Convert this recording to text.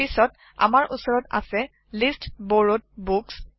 পিচত আমাৰ উচৰত আছে লিষ্ট বৰৰৱেড Books